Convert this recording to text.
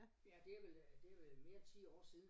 Ja det er vel øh det er vel mere end 10 år siden